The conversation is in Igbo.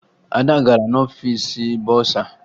Ada gara n'ọfiisi bọsa